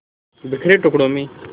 बिखरे टुकड़ों में